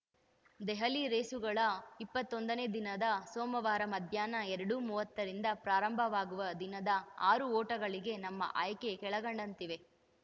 ದೆಹಲಿ ರೇಸುಗಳ ಇಪ್ಪತ್ತೊಂದನೇ ದಿನವಾದ ಸೋಮವಾರ ಮಧ್ಯಾಹ್ನ ಎರಡು ಮೂವತ್ತರಿಂದ ಪ್ರಾರಂಭವಾಗುವ ದಿನದ ಆರು ಓಟಗಳಿಗೆ ನಮ್ಮ ಆಯ್ಕೆ ಕೆಳಕಂಡಂತಿವೆ